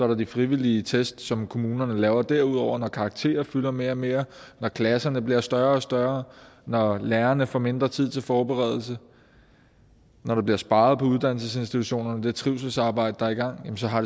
der de frivillige test som kommunerne laver derudover når karakterer fylder mere og mere når klasserne bliver større og større når lærerne får mindre tid til forberedelse når der bliver sparet på uddannelsesinstitutionerne det trivselsarbejde der er i gang så